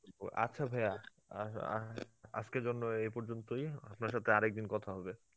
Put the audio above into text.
আচ্ছা ভাইয়া আ~ আ~ আসকের জন্যে এই পর্যন্তই, আপনার সাথে আরেকদিন কথা হবে.